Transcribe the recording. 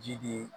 Ji de ye